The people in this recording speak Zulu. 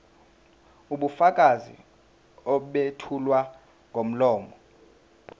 ubufakazi obethulwa ngomlomo